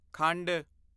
ਖੰਡ